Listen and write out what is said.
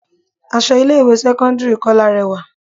Aṣọ ilé ìwé sẹ́kọ́ńdírì Kọ́lá rẹwà.